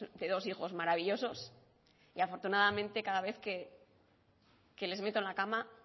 de dos hijos maravillosos y afortunadamente cada vez que les meto en la cama